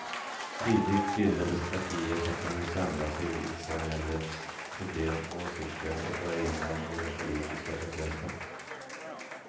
Tidigt bildades partier som kunde samla civilsamhällets problem och åsikter och föra in dem i den politiska processen.